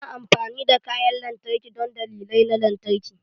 Ana amfani da kayan lantarki don dalilai na lantarki.